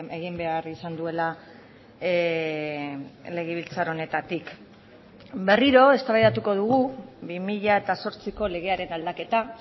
egin behar izan duela legebiltzar honetatik berriro eztabaidatuko dugu bi mila zortziko legearen aldaketa